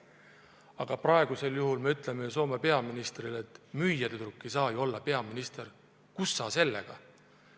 Aga praegu me ütleme Soome peaministrile, et müüjatüdruk ei saa ju olla peaminister, kus sa sellega!